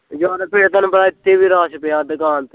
ਯਾਰ ਫਿਰ ਤੇਨੂੰ ਪਤਾ ਇੱਥੇ ਵੀ ਰਸ਼ ਪਿਆ ਦੁਕਾਨ ਤੇ